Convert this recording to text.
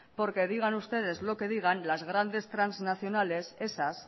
porque digan ustedes lo que digan las grandes transnacionales esas